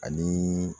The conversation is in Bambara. Ani